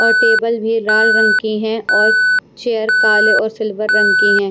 और टेबल भी लाल रंग की है और चेयर काले और सिल्वर रंग की हैं।